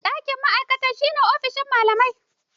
Ɗakin ma'aikata shi ne ofishin malamai.